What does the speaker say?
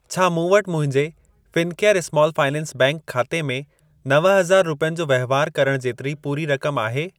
छा मूं वटि मुंहिंजे फिनकेयर स्माल फाइनेंस बैंक खाते में नव हज़ार रुपियनि जो वहिंवार करण जेतिरी पूरी रक़म आहे?